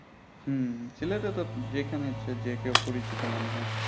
হম সিলেটে তো যেখানে ইচ্ছা যে কেউ পরিচিত মনে হয়